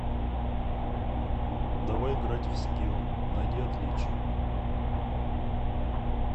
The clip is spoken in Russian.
давай играть в скилл найди отличия